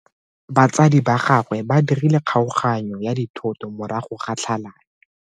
Batsadi ba gagwe ba dirile kgaoganyo ya dithoto morago ga tlhalano.